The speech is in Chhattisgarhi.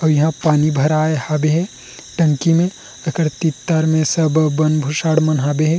और यहाँ पानी भराए हब हे टंकी मे तेकर ते तड़ मे सर बर बन भुसण मन हबे हे।